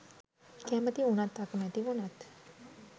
කැමති උනත් අකමැති උනත්